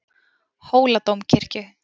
Hóladómkirkju